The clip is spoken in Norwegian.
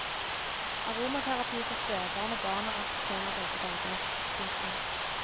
Aromaterapi for spebarn og barn er også tema begge dager. punktum